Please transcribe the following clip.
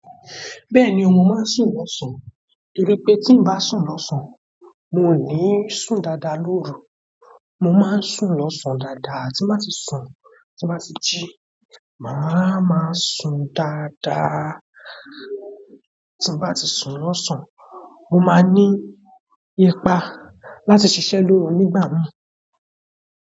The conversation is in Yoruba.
Bẹ́ẹ̀ni, mo máa ń sùn lọ́sàn-án, toripe tí n bá sùn lọ́sàn-án, mo ní sùn dáadáa lóru. Mo máa ń sùn lọ́sàn-án dáadáa, tí n bá ti sùn, tí n bá ti ji, màá ma sùn dáadáa. Tí n bá ti sùn lọ́sàn-án, mo máa ní ipa láti ṣiṣẹ́ lóru nígbà mìí.